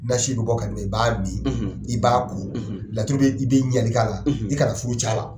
Nasi bɛ bɔ ka d'i ma i b'a mi i b'a ko laturubi i la i kana furu